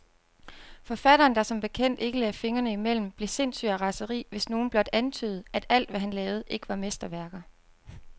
Forfatteren, der som bekendt ikke lagde fingrene imellem, blev sindssyg af raseri, hvis nogen blot antydede, at alt, hvad han lavede, ikke var mesterværker.